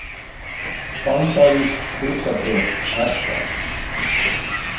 Bandarísk hlutabréf lækka